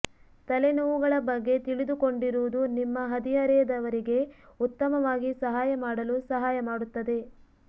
ತಲೆನೋವುಗಳ ಬಗ್ಗೆ ತಿಳಿದುಕೊಂಡಿರುವುದು ನಿಮ್ಮ ಹದಿಹರೆಯದವರಿಗೆ ಉತ್ತಮವಾಗಿ ಸಹಾಯ ಮಾಡಲು ಸಹಾಯ ಮಾಡುತ್ತದೆ